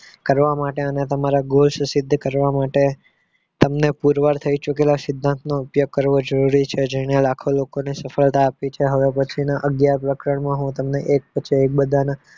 કરવા માટે અને તમારા goal સિદ્ધ કરવા માટે તમને પુરવાર થઈ ચૂકેલા સિદ્ધાંતનો ઉપયોગ કરવો જરૂરી છે જેને લાખો લોકો ને સફળતા આપી છે હવે પછી ના અગિયાર પ્રકરણ માં હું તમને એક પછી એક બધાના